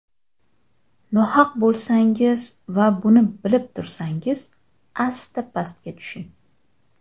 Nohaq bo‘lsangiz va buni bilib tursangiz asta pastga tushing.